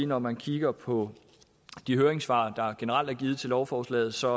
når man kigger på de høringssvar der generelt er givet til lovforslaget ser